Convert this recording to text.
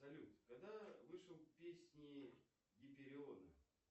салют когда вышел песни гипериона